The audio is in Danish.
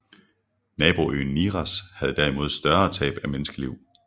Naboøen Nias havde derimod større tab af menneskeliv